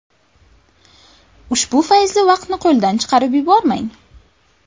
Ushbu fayzli vaqtni qo‘ldan chiqarib yubormang!